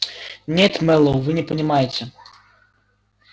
нет мэллоу вы не понимаете